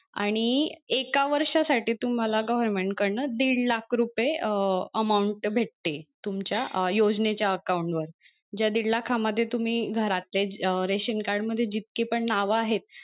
आणि एका वर्षासाठी तुम्हाला government कडन दीड लाख रुपये amount भेटते तुमच्या योजनेच्या account वर ज्या दीड लाखा मध्ये तुम्ही घरात ration card मध्ये जितके पण नाव आहेत,